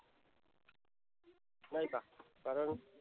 नाही का कारण